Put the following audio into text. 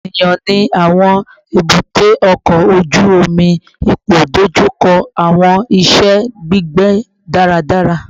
Eniyan ni awọn ebute oko oju omi ipoidojuko awọn iṣẹ gbigbe daradara